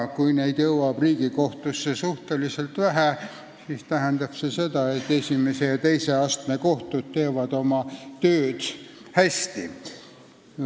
Kui neid jõuab Riigikohtusse suhteliselt vähe, siis tähendab see seda, et esimese ja teise astme kohtud teevad oma tööd hästi.